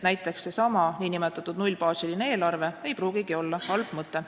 Näiteks ei pruugigi seesama nn nullbaasiline eelarve olla halb mõte.